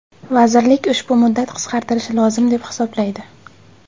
Vazirlik ushbu muddat qisqartirilishi lozim deb hisoblaydi.